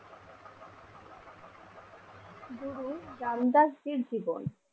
গুরু রামদাস জীর জীবন।